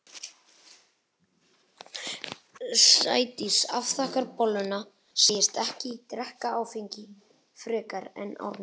Sædís afþakkar bolluna, segist ekki drekka áfengi frekar en Árný.